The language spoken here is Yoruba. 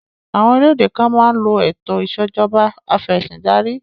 Àwọn orílẹ̀-èdè kan máa ń lo ètò ìṣẹ̀jọba afẹ̀sìndarí